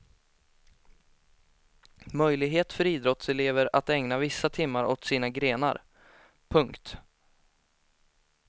Möjlighet för idrottselever att ägna vissa timmar åt sina grenar. punkt